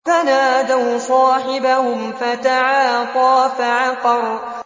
فَنَادَوْا صَاحِبَهُمْ فَتَعَاطَىٰ فَعَقَرَ